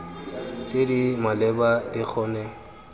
tse di maleba di kgone